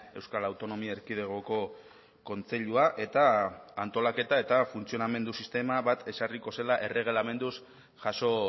euskal autonomia erkidegoko kontseilua eta antolaketa eta funtzionamendu sistema bat ezarriko zela erregelamenduz jaso